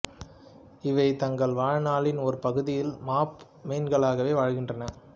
இவை தங்கள் வாழ்நாளின் ஒரு பகுதியில் மாப்பு மீன்களாகவே வாழ்கின்றன